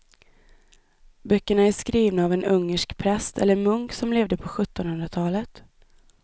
Böckerna är skrivna av en ungersk präst eller munk som levde på sjuttonhundratalet.